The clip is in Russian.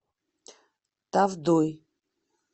тавдой